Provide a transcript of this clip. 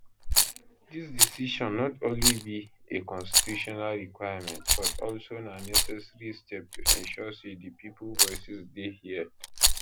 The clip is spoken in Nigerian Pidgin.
dis decision not only be a constitutional requirement but also na necessary step to ensure say di pipo voices dey heard